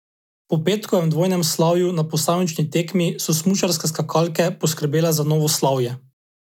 Po petkovem dvojnem slavju na posamični tekmi so smučarske skakalke poskrbele za novo slavje.